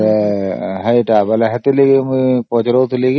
ସେଥିପାଇଁ ମୁଁ ପଚାରିଥିଲି